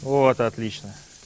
вот отлично